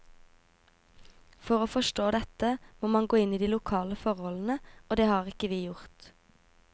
For å forstå dette må man gå inn i de lokale forholdene, og det har vi ikke gjort.